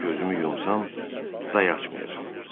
Gözümü yumsam, daha açmayacam.